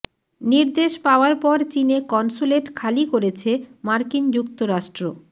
নির্দেশ পাওয়ার পর চীনে কনস্যুলেট খালি করেছে মার্কিন যুক্তরাষ্ট্র